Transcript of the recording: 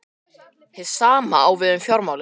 Hið sama á við um fjármálin.